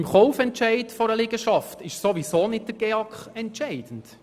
Beim Kaufentscheid einer Liegenschaft ist ohnehin nicht der GEAK entscheidend.